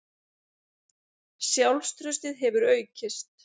Sjálfstraustið hefur aukist.